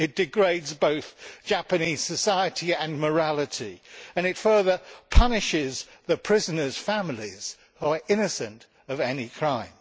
it degrades both Japanese society and morality and it further punishes the prisoners' families, who are innocent of any crime.